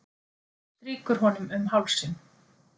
Strýkur honum um hálsinn.